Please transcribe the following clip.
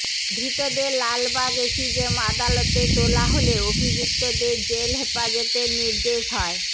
ধৃতদের লালবাগ এসিজেম আদালতে তোলা হলে অভিযুক্তদের জেল হেফাজতের নির্দেশ হয়